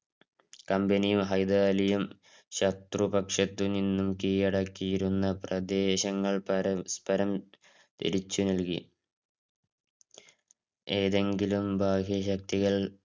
കമ്പനിയും ഹൈദരലിയും ശത്രുപക്ഷത്ത് നിന്ന് കിഴടക്കീയിരുന്ന പ്രദേശങ്ങൾ പരസ്പരം തിരിച്ചു നൽകി ഏതെങ്കിലും ബാഹ്യശക്തികൾ